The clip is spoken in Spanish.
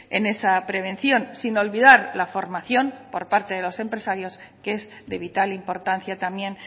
en esa prevención sin olvidar la formación por parte de los empresarios que es de vital importancia también